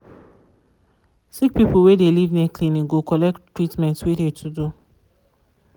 sick people wey de live near clinic go collect tretment wey de to do.